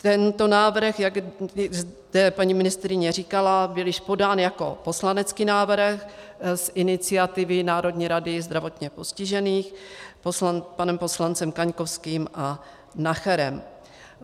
Tento návrh, jak zde paní ministryně říkala, byl již podán jako poslanecký návrh z iniciativy Národní rady zdravotně postižených panem poslancem Kaňkovským a Nacherem.